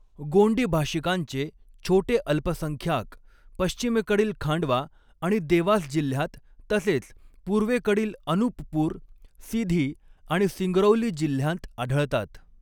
गोंडी भाषिकांचे छोटे अल्पसंख्याक पश्चिमेकडील खांडवा आणि देवास जिल्ह्यांत तसेच पूर्वेकडील अनुपपूर, सीधी आणि सिंगरौली जिल्ह्यांत आढळतात.